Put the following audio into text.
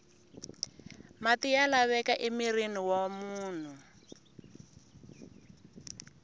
mati ya laveka emirhini wa munhu